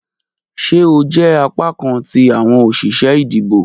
Ṣe o jẹ apakan ti awọn oṣiṣẹ idibo?